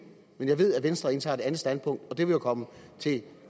men jeg ved at venstre indtager et andet standpunkt og det vil jo komme til